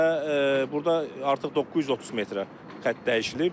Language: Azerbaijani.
Və burda artıq 930 metrə xətt dəyişilib.